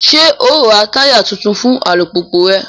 Ṣe o n rá taya tuntun fún alupupu rẹ?